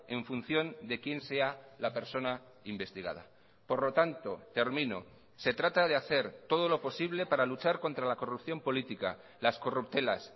en función de quién sea la persona investigada por lo tanto termino se trata de hacer todo lo posible para luchar contra la corrupción política las corruptelas